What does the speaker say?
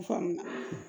Faamuya